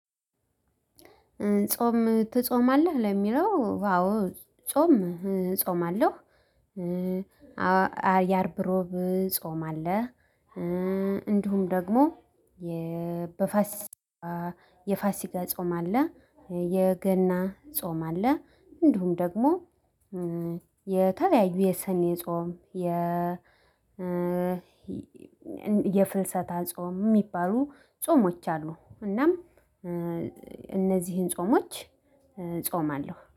ጾም ትጾማለህ ለሚለው አዎ ጾም እጾማለሁ። የአርብ እሮብ ጾም አለ። እንዲሁም ደግሞ የፋሲካ ጾም አለ። የገና ጾም አለ። እንዲሁም ደግሞ የተለያዩ የሰኔ ጾም። የፍልሰታ ጾም የሚባሉ ጾሞች አሉ እናም እነዚህን ጾሞች እጾማለሁ